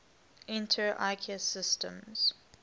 inter ikea systems